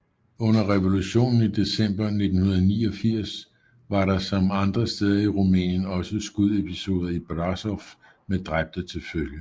Under revolutionen i december 1989 var der som andre steder i Rumænien også skudepisoder i Brasov med dræbte til følge